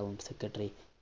town secretary